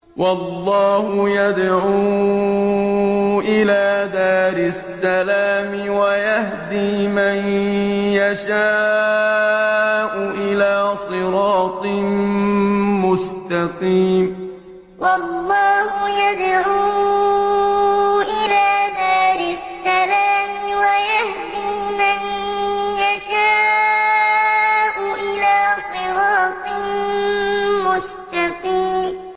وَاللَّهُ يَدْعُو إِلَىٰ دَارِ السَّلَامِ وَيَهْدِي مَن يَشَاءُ إِلَىٰ صِرَاطٍ مُّسْتَقِيمٍ وَاللَّهُ يَدْعُو إِلَىٰ دَارِ السَّلَامِ وَيَهْدِي مَن يَشَاءُ إِلَىٰ صِرَاطٍ مُّسْتَقِيمٍ